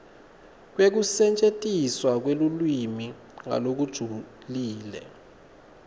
kwekusetjentiswa kwelulwimi ngalokujulile